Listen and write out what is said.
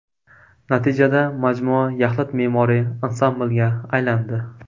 Natijada majmua yaxlit me’moriy ansamblga aylandi.